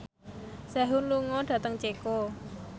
Sehun lunga dhateng Ceko